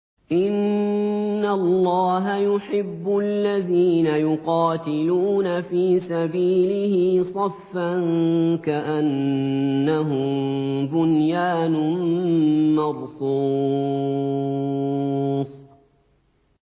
إِنَّ اللَّهَ يُحِبُّ الَّذِينَ يُقَاتِلُونَ فِي سَبِيلِهِ صَفًّا كَأَنَّهُم بُنْيَانٌ مَّرْصُوصٌ